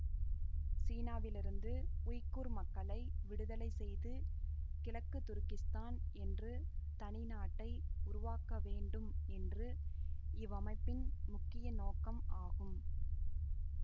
சீனாவிலிருந்து உய்குர் மக்களை விடுதலை செய்து கிழக்கு துருக்கிஸ்தான் என்று தனி நாட்டை உருவாக்கவேண்டும் என்று இவ்வமைப்பின் முக்கிய நோக்கம் ஆகும்